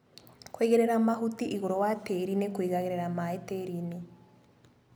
Kũigĩrĩra mahuti igũrũ wa tĩri nĩ kũigaga maĩ tĩrinĩ.